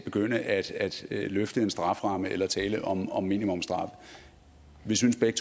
begynde at løfte en strafferamme eller tale om om minimumsstraffe vi synes begge